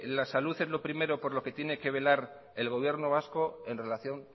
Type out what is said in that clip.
la salud es lo primero por lo que tiene que velar el gobierno vasco en relación